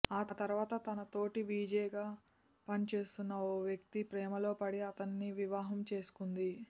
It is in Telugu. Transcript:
ఆ తర్వాత తన తోటి విజేగా పని చేస్తున్న ఓ వ్యక్తి ప్రేమలో పడి అతడిని వివాహం చేసుకుంది